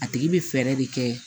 A tigi bɛ fɛɛrɛ de kɛ